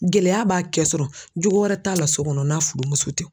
Gɛlɛya b'a kɛ sɔrɔ jogo wɛrɛ t'a la so kɔnɔ n'a furumuso tɛ